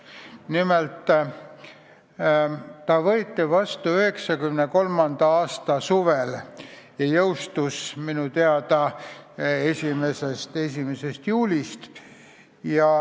Nimelt, see võeti vastu 1993. aasta suvel ja jõustus kohe Riigi Teatajas avaldamisel.